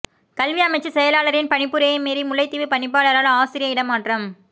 கல்வி அமைச்சு செயலாளரின் பணிப்புரையை மீறி முல்லைத்தீவு பணிப்பாளரால் ஆசிரிய இடமாற்றம்